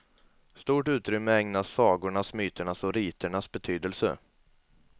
Stort utrymme ägnas sagornas, myternas och riternas betydelse.